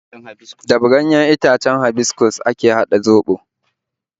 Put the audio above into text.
Da ganyen itacen habiskus ake haɗa zobo